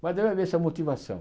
Mas deve haver essa motivação.